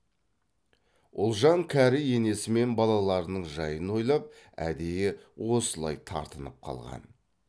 ұлжан кәрі енесі мен балаларының жайын ойлап әдейі осылай тартынып қалған